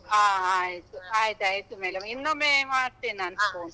ಹ ಆಯ್ತು, ಆಯ್ತಾಯಿತು madam, ಇನ್ನೊಮ್ಮೆ ಮಾಡ್ತೇನ್ ನಾನು phone.